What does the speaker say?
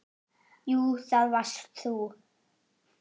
Jú, það varst þú.